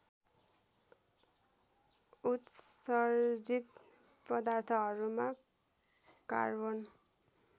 उत्सर्जित पदार्थहरूमा कार्बन